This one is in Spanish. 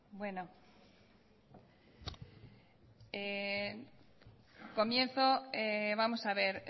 bueno comienzo vamos a ver